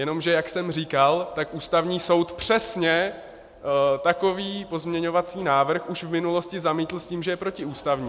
Jenomže jak jsem říkal, tak Ústavní soud přesně takový pozměňovací návrh už v minulosti zamítl s tím, že je protiústavní.